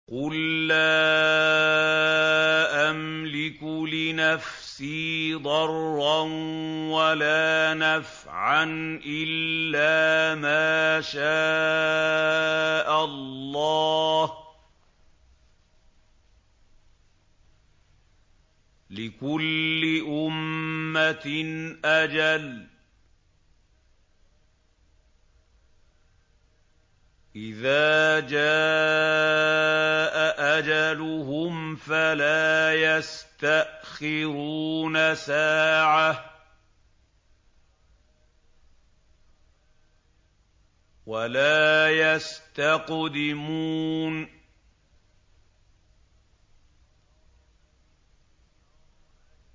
قُل لَّا أَمْلِكُ لِنَفْسِي ضَرًّا وَلَا نَفْعًا إِلَّا مَا شَاءَ اللَّهُ ۗ لِكُلِّ أُمَّةٍ أَجَلٌ ۚ إِذَا جَاءَ أَجَلُهُمْ فَلَا يَسْتَأْخِرُونَ سَاعَةً ۖ وَلَا يَسْتَقْدِمُونَ